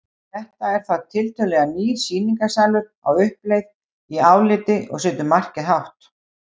Þetta er þá tiltölulega nýr sýningarsalur á uppleið í áliti og setur markið hátt.